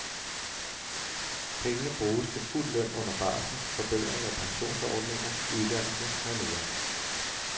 Pengene bruges til fuld løn under barsel, forbedring af pensionsordninger, uddannelse med mere.